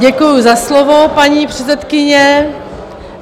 Děkuji za slovo, paní předsedkyně.